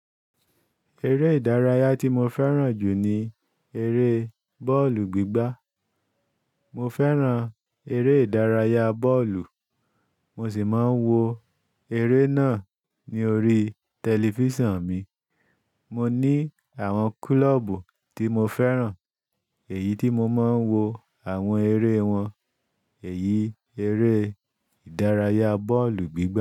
Eré ìdárayá tí mo fẹ́ràn jù ní eré bọ́ọ̀lù gbígbá. Mo fẹ́ràn eré ìdárayá bọ́ọ̀lù, mo sì máa ń wo eré náà ní orí tẹlifísàn mi. Mo ní àwọn klọ́ọ̀bù tí mo fẹ́ràn èyí tí mo máa ń wo àwọn eré wọn. Èyí eré ìdárayá bọ́ọ̀lù gbígbá.